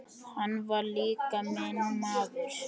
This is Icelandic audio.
Hann var líka minn maður.